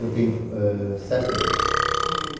Eu tenho sete netos.